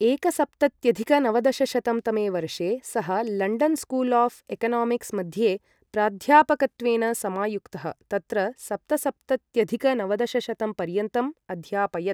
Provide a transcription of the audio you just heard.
एकसप्तत्यधिक नवदशशतं तमे वर्षे, सः लण्डन् स्कूल् आफ् एकनामिक्स् मध्ये प्राध्यापकत्वेन समायुक्तः, तत्र सप्तसप्तत्यधिक नवदशशतं पर्यन्तं अध्यापयत्।